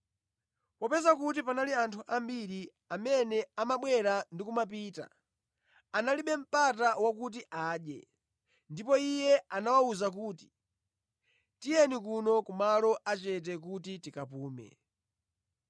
Popeza kuti panali anthu ambiri amene amabwera ndi kumapita, analibe mpata wakuti adye, ndipo Iye anawawuza kuti, “Tiyeni kuno kumalo achete kuti tikapume.”